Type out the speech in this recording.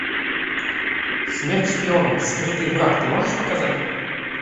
смерть шпионам скрытый враг ты можешь показать